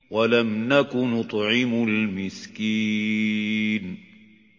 وَلَمْ نَكُ نُطْعِمُ الْمِسْكِينَ